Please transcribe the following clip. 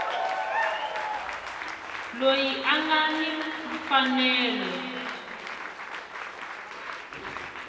loyi a nga ni mfanelo